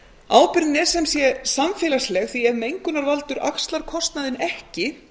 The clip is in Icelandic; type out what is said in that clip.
ábyrgðin er samfélagsleg því að ef mengunarvaldur axlar kostnaðinn ekki